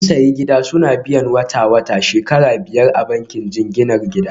Sun sayi gida suna biyan wata-wata shekara biyar a bankin jinginar gida